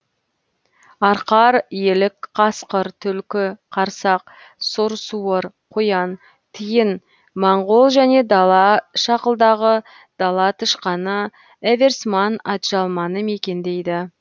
арқар елік қасқыр түлкі қарсақ сұр суыр қоян тиін моңғол және дала шақылдағы дала тышқаны эверсман атжалманы мекендейді